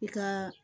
I ka